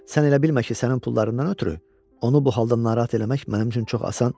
Sən elə bilmə ki, sənin pullarından ötrü onu bu halda narahat eləmək mənim üçün çox asan.